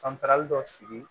Santarali dɔ sigi